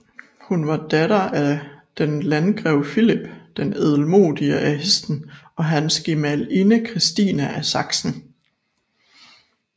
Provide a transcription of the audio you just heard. Hun var datter af den Landgrev Filip den Ædelmodige af Hessen og hans gemalinde Christine af Sachsen